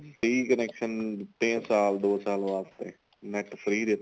free connection ਦਿੱਤੇ ਏ ਸਾਲ ਦੋ ਸਾਲ ਵਾਸਤੇ NET free ਦਿੱਤਾ